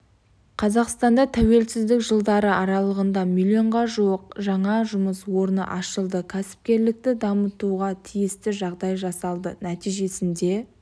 қазақстанда тәуелсіздік жылдары аралығында миллионға жуық жаңа жұмыс орны ашылды кәсіпкерлікті дамытуға тиісті жағдай жасалды нәтижесінде